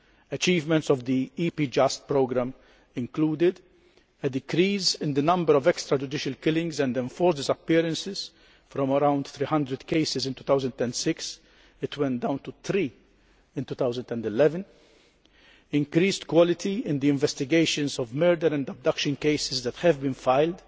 Achievements of that EPJUST programme included a decrease in the number of extrajudicial killings and enforced disappearances from around 300 cases in 2006 down to three in 2011 increased quality in the investigations of murder and abduction cases that have been filed,